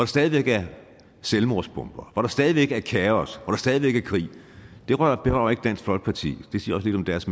stadig væk er selvmordsbomber hvor der stadig væk er kaos hvor der stadig væk er krig det berører ikke dansk folkeparti det siger også lidt om deres